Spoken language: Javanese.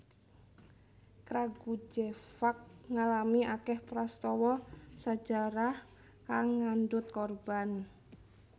Kragujevac ngalami akèh prastawa sajarah kang ngandhut korban